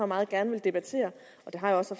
meget gerne debatterer det har jeg også